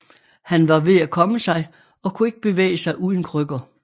Han var ved at komme sig og kunne ikke bevæge sig uden krykker